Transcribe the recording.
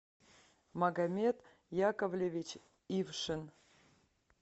магомед яковлевич ившин